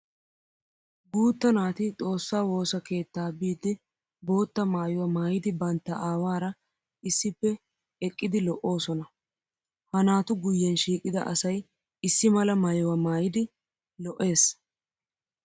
Guutta naati xoosa woosa keetta biidi bootta maayuwa maayiddi bantta aawara issippe eqqiddi lo'osonna. Ha naatu guyen shiiqidda asay issi mala maayuwa maayiddi lo'ees.